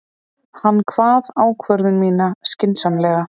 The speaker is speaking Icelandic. Hann kvað ákvörðun mína skynsamlega.